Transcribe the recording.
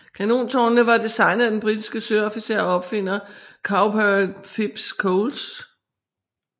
Kanontårnene var designet af den britiske søofficer og opfinder Cowper Phipps Coles